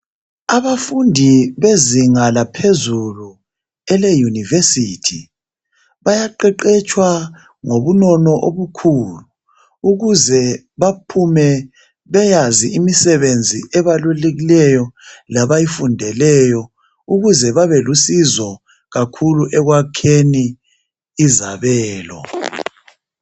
Abafundi bezinga laphezulu eleyunivesithi bayaqeqetshwa ngobunono obukhulu ukuze baphume beyazi imisebenzi ebalulekileyo labayifundeleyo ukuze babe lusizo kakhulu ekwakheni izabelo.